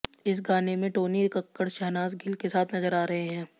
इस गाने में टोनी कक्कड़ शहनाज गिल के साथ नजर आ रहे हैं